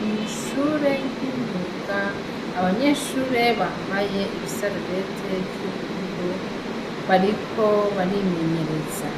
Mw'ishure ry'imyuga, abanyeshure bambaye ibisarubeti vy'ubururu, bariko barimenyereza,